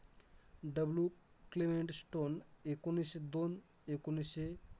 W Clement Stone, एकोणिश्शे दोन एकोणिश्शे